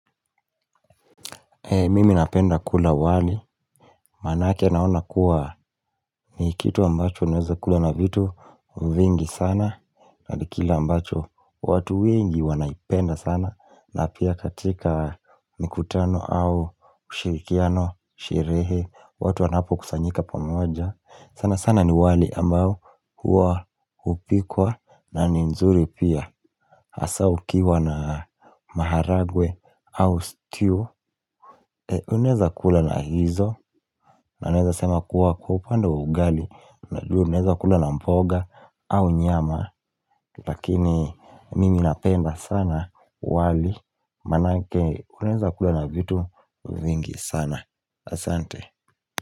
Mimi napenda kula wali, maanake naona kuwa ni kitu ambacho unaweza kula na vitu vingi sana na ni kile ambacho watu wengi wanaipenda sana. Na pia katika mikutano au ushirikiano, sherehe, watu wanapokusanyika pamoja sana sana ni wali ambao huwa hupikwa na ni nzuri pia Hasa ukiwa na maharagwe au stew unaweza kula na hizo na naweza sema kuwa kwa upande wa ugali najua unaweza kula na mboga au nyama lakini mimi napenda sana wali maanake unaweza kula na vitu vingi sana asante.